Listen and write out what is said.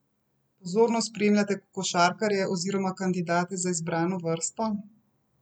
Pozorno spremljate košarkarje oziroma kandidate za izbrano vrsto?